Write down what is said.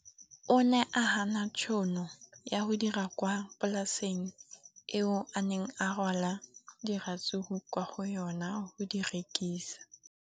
O ne a gana tšhono ya go dira kwa polaseng eo a neng rwala diratsuru kwa go yona go di rekisa.